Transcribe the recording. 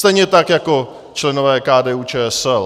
Stejně tak jako členové KDU-ČSL.